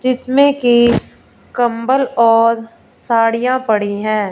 जिसमें की कंबल और साड़ियां पड़ी हैं।